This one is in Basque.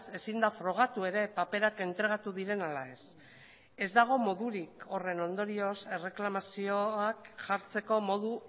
ezin da frogatu ere paperak entregatu diren ala ez ez dago modurik horren ondorioz erreklamazioak jartzeko modu